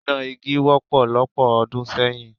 Iná igi wọ́pọ̀ lọ́pọ̀ ọdún sẹ́yìn.